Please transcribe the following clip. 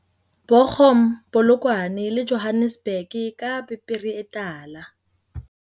Bo chum, Polokwane le Johannes burg ka pepere e tala.